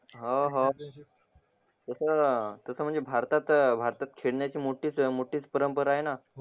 हो हो तसं तसं म्हणजे भारतात भारतात खेळण्याची मोठीच मोठीच परंपरा आहे ना